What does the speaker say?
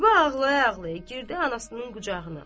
Ziba ağlaya-ağlaya girdi anasının qucağına.